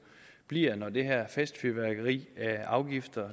bliver når det her festfyrværkeri af afgifter